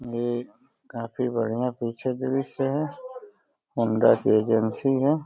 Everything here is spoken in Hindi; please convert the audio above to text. ये काफी बढ़ियाँ पीछे दृश्य है। होंडा की एजेंसी है।